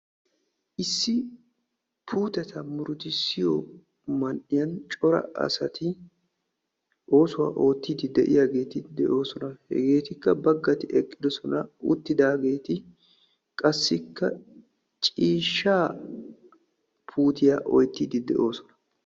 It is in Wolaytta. Issi puuteta murutissiyo man''iyan cora asati oosuwa oottiiddi de'iyageeti de'oosona. Hegettikka baggati eqqidosona uttidaageeti qassikka ciishshaa puutiya oyttiyddi de'oosona.